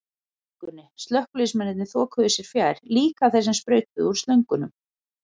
byggingunni, slökkviliðsmennirnir þokuðu sér fjær, líka þeir sem sprautuðu úr slöngunum.